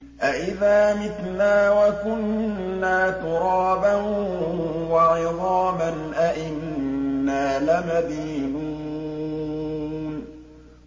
أَإِذَا مِتْنَا وَكُنَّا تُرَابًا وَعِظَامًا أَإِنَّا لَمَدِينُونَ